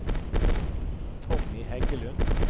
Tommy Heggelund